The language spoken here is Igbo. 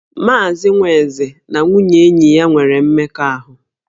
Maazị Nwaeze na nwunye enyi ya nwere mmekọahụ